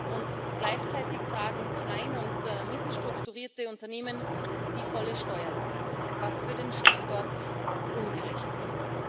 Und gleichzeitig tragen klein und mittel strukturierte Unternehmen die volle Steuerlast, was für den Standort ungerecht ist.